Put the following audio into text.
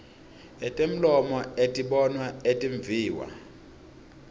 etemlomo etibonwa etimviwa